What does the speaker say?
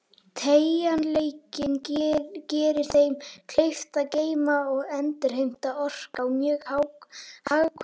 Teygjanleikinn gerir þeim kleift að geyma og endurheimta orku á mjög hagkvæman hátt.